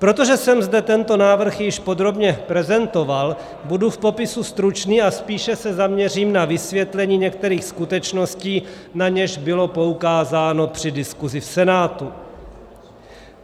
Protože jsem zde tento návrh již podrobně prezentoval, budu v popisu stručný a spíše se zaměřím na vysvětlení některých skutečností, na něž bylo poukázáno při diskusi v Senátu.